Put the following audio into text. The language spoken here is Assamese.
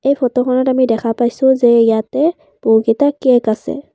এই ফটোখনত আমি দেখা পাইছোঁ যে ইয়াতে বহুকেইটা কেক আছে।